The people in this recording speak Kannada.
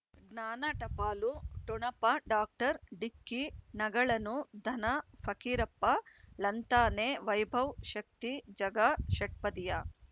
ಜ್ಞಾನ ಟಪಾಲು ಠೊಣಪ ಡಾಕ್ಟರ್ ಢಿಕ್ಕಿ ಣಗಳನು ಧನ ಫಕೀರಪ್ಪ ಳಂತಾನೆ ವೈಭವ್ ಶಕ್ತಿ ಝಗಾ ಷಟ್ಪದಿಯ